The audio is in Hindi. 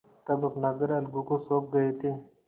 तब अपना घर अलगू को सौंप गये थे